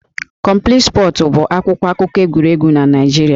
Complete Sports' bụ akwụkwọ akụkọ egwuregwu na Naịjirịa